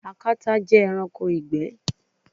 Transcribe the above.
Akata jẹ ẹranko igbẹ